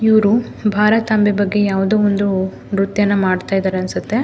ಇವ್ರು ಭಾರತಾಂಬೆ ಬಗ್ಗೆ ಯಾವುದೊ ಒಂದು ನ್ರತ್ಯನ ಮಾಡ್ತಾ ಇದ್ದಾರೆ ಅನ್ಸುತ್ತೆ.